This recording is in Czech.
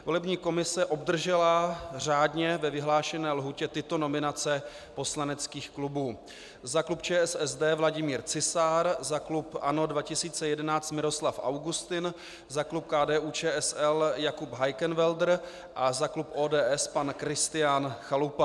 Volební komise obdržela řádně ve vyhlášené lhůtě tyto nominace poslaneckých klubů: za klub ČSSD Vladimír Cisár, za klub ANO 2011 Miroslav Augustin, za klub KDU-ČSL Jakub Heikenwälder a za klub ODS pan Kristián Chalupa.